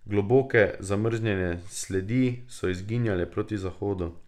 Globoke, zamrznjene sledi so izginjale proti zahodu.